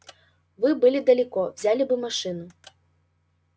было бы далеко взяли бы машину